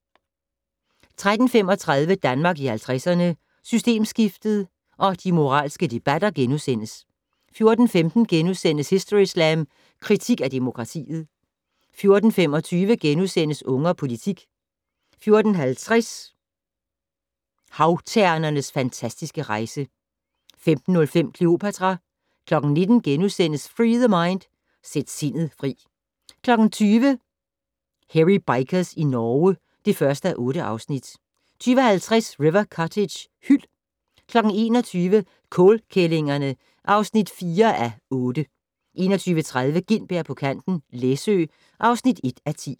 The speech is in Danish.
13:35: Danmark i 50'erne - Systemskiftet og de moralske debatter * 14:15: Historyslam: Kritik af demokratiet * 14:25: Unge og politik * 14:50: Havternens fantastiske rejse 15:05: Cleopatra 19:00: Free The Mind - Sæt sindet fri * 20:00: Hairy Bikers i Norge (1:8) 20:50: River Cottage - hyld 21:00: Kålkællingerne (4:8) 21:30: Gintberg på kanten - Læsø (1:10)